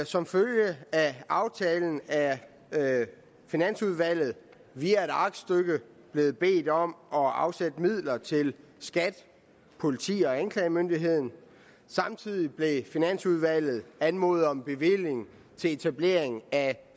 som følge af aftalen er finansudvalget via et aktstykke blevet bedt om at afsætte midler til skat politiet og anklagemyndigheden samtidig blev finansudvalget anmodet om en bevilling til etablering af